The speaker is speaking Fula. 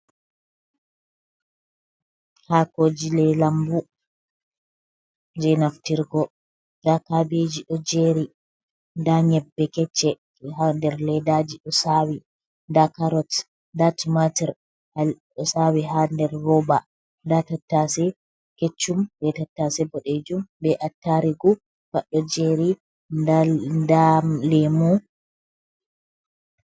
Haakoji lee lambu, my je naftirgo nda kaabeji ɗo jeeri, nda nƴebbe kecce ha nder ledaji ɗo saawi, nda kaarot nda tumatur ɗo saawi ha nder roba, nda tattase keccum be tattase boɗejum be attarugu pad ɗo jeeri nda nda leemu.